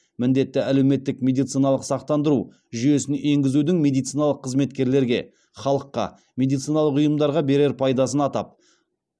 міндетті әлеуметтік медициналық сақтандыру жүйесін енгізудің медициналық қызметкерлерге халыққа медициналық ұйымдарға берер пайдасын атап